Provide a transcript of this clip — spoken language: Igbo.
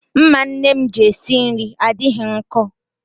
Mma nne m ji esi nri adịghị nkọ.